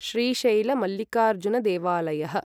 Srisaila मल्लिकार्जुनदेवलायः